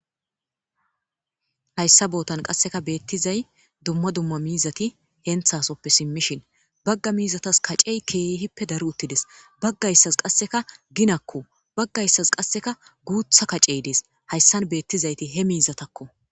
Hayssa bootan qasseka beettizay dumma dumma miizati henthasoppe simmishin bagga miizatas kacey keehippe daru uttides. Baggayssas qasseka ginakko. Baggayssas qasseka guutha kacey dees. Hayssan beettizayti he miizatakko.